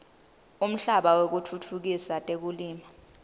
umhlaba wekutfutfukisa tekulima